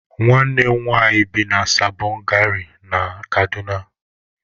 Nwanne m nwanyị bi na Sabọn gari dị na Kano